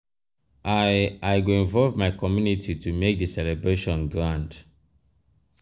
i i go involve my community to make di celebration grand.